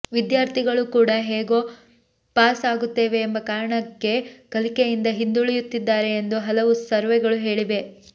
ವಿದ್ಯಾರ್ಥಿಗಳು ಕೂಡ ಹೇಗೂ ಪಾಸ್ ಆಗುತ್ತೇವೆ ಎಂಬ ಕಾರಣಕ್ಕೆ ಕಲಿಕೆಯಿಂದ ಹಿಂದುಳಿಯುತ್ತಿದ್ದಾರೆ ಎಂದು ಹಲವು ಸರ್ವೆಗಳು ಹೇಳಿವೆ